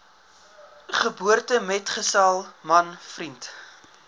geboortemetgesel man vriend